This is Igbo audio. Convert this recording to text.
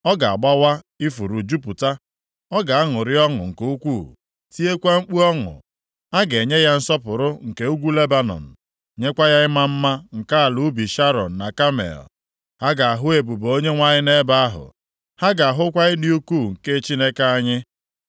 ọ ga-agbawa ifuru jupụta; ọ ga-aṅụrị ọṅụ nke ukwuu, tiekwa mkpu ọṅụ. A ga-enye ya nsọpụrụ nke ugwu Lebanọn, nyekwa ya ịma mma nke ala ubi Sharọn na Kamel. Ha ga-ahụ ebube Onyenwe anyị nʼebe ahụ, ha ga-ahụkwa ịdị ukwuu + 35:2 Maọbụ, ịma mma nke Chineke anyị.